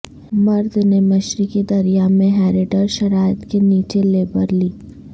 مرد نے مشرقی دریا میں ہیریڈر شرائط کے نیچے لیبر لی